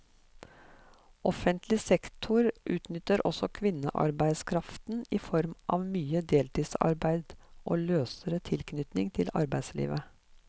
Offentlig sektor utnytter også kvinnearbeidskraften i form av mye deltidsarbeid og løsere tilknytning til arbeidslivet.